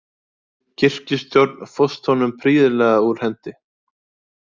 Kirkjustjórn fórst honum prýðilega úr hendi.